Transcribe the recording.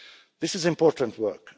This is important work